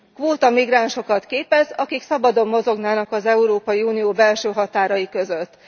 Kvóta migránsokat képez, akik szabadon mozognának az Európai Unió belső határai között.